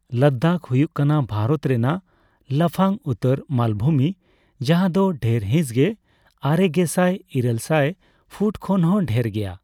ᱞᱟᱫᱟᱠᱷ ᱦᱩᱭᱩᱜ ᱠᱟᱱᱟ ᱵᱷᱟᱨᱚᱛ ᱨᱮᱱᱟᱜ ᱞᱟᱯᱷᱟᱝ ᱩᱛᱟᱹᱨ ᱢᱟᱞᱵᱷᱩᱢᱤ, ᱡᱟᱦᱟᱸ ᱫᱚ ᱰᱷᱮᱨ ᱦᱤᱸᱥᱜᱮ ᱟᱨᱮᱜᱮᱥᱟᱭ ᱤᱨᱟᱹᱞ ᱥᱟᱭ ᱯᱷᱩᱴ ᱠᱷᱚᱱᱦᱚᱸ ᱰᱷᱮᱨ ᱜᱮᱭᱟ ᱾